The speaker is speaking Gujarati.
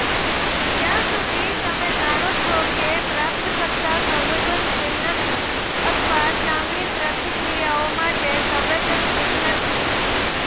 જ્યાં સુધી તમે જાણો છો કે પ્રાપ્તકર્તા સંવેદનશીલ નથી અથવા ચામડી પ્રતિક્રિયાઓ માટે સંવેદનશીલ નથી